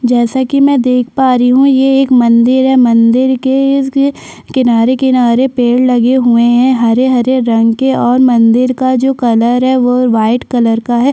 जैसा की में देख पा रही हूँ यहाँ एक मंदिर है मंदिर के किनारे-किनारे पेड़ लगे हुए है हरे हरे रंग के और मंदिर का जो कलर है वो वाइट कलर का है।